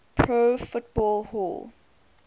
pro football hall